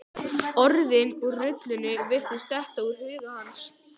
Orðin úr rullunni virtust detta úr huga hans.